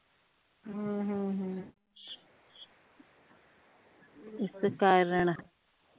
ਇਸ ਕਾਰਣ